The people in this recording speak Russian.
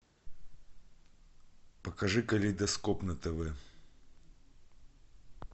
покажи калейдоскоп на тв